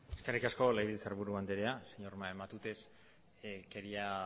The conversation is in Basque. eskerrik asko legebiltzarburu anderea señor matute quería